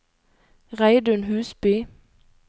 Reidun Husby